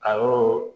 A yɔrɔ